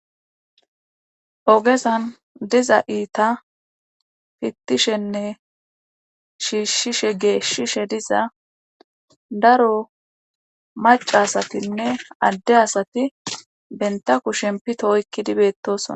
Ogesan diza iita fittishenne shiishshishe geeshshishe diza daro maca asatinne adde asati benta ku shem pito hoykkidibeettosona